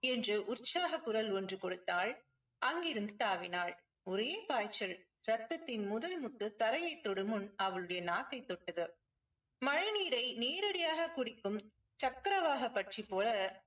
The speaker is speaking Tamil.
என்று உற்சாக குரல் ஒன்று கொடுத்தாள். அங்கிருந்து தாவினாள் ஒரே பாய்ச்சல் ரத்தத்தின் முதல் முத்து தரையைத் தொடும் முன் அவளுடைய நாக்கை தொட்டது மழை நீரை நேரடியாக குடிக்கும் சக்கரவாகபட்சி போல